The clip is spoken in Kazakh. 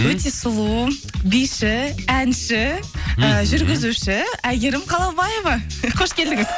өте сұлу биші әнші і жүргізуші әйгерім қалаубаева қош келдіңіз